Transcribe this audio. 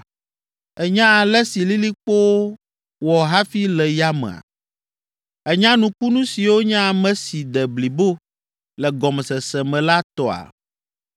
Ènya ale si lilikpowo wɔ hafi le yamea, ènya nukunu siwo nye ame si de blibo le gɔmesese me la tɔa?